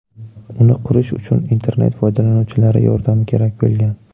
Uni qurish uchun internet foydalanuvchilari yordami kerak bo‘lgan.